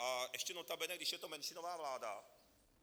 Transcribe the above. A ještě notabene, když je to menšinová vláda.